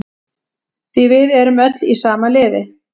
Því við erum öll í sama liði.